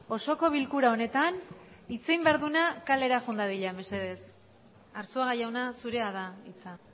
osoko bilkura honetan hitz egin behar duena kalera joan dadila mesedez arzuaga jauna zurea da hitza